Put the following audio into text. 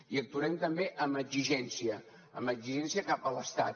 i actuarem també amb exigència amb exigència cap a l’estat